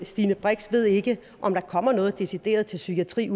stine brix ved ikke om der kommer noget decideret til psykiatrien